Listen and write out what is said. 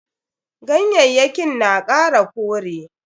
Ganyayyakin na kara kore.